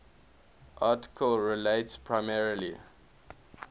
article relates primarily